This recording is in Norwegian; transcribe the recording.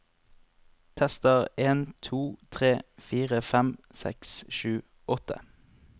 Tester en to tre fire fem seks sju åtte